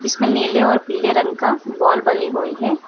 इसमें नीले और पीले रंग का वॉल बनी हुई है।